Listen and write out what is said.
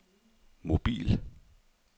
mobil